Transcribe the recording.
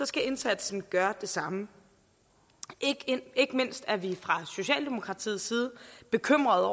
skal indsatsen gøre det samme ikke mindst er vi fra socialdemokratiets side bekymrede